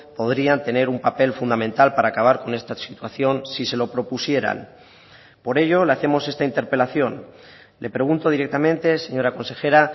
podrían tener un papel fundamental para acabar con esta situación si se lo propusieran por ello le hacemos esta interpelación le pregunto directamente señora consejera